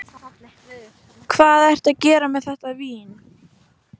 Hvað ertu að gera með þetta vín?